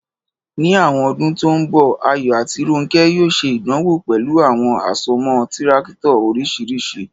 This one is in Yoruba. Ní àwọn ọdún tó ń bọ̀, Ayọ̀ àti Rónkẹ́ yóò ṣe ìdánwò pẹ̀lú àwọn àsomọ́ Tírákítọ̀ oríṣiríṣi.